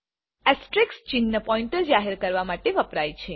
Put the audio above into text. asterisk ચિહ્ન pointer જાહેર કરવા માટે વપરાય છે